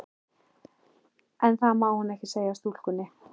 En það má hún ekki segja stúlkunni.